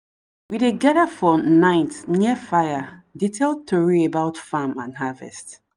we dey gather for night near fire dey tell tori about farm and harvest.